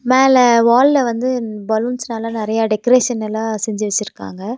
மேல வால்ல வந்து பலூன்ஸ்னால நெறையா டெக்கரேஷனல்லா செஞ்சு வச்சுருக்காங்க.